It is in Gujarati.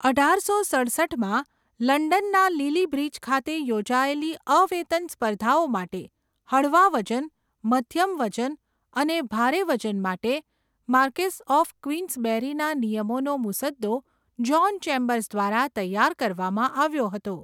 અઢારસો સડસઠમાં લંડનના લિલી બ્રિજ ખાતે યોજાયેલી અવેતન સ્પર્ધાઓ માટે હળવા વજન, મધ્યમ વજન અને ભારે વજન માટે માર્કેસ્સ ઑફ ક્વીન્સબેરીના નિયમોનો મુસદ્દો જ્હોન ચેમ્બર્સ દ્વારા તૈયાર કરવામાં આવ્યો હતો.